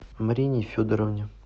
марине федоровне